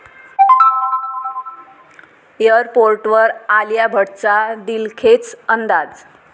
एअरपोर्टवर आलिया भटचा दिलखेच अंदाज!